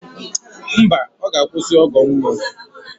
Mba, ọ ga-akwụsị ọgọ mmụọ